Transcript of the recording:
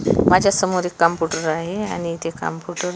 माझ्यासमोर एक कम्प्युटर आहे आणि ते कॉम्पुटर --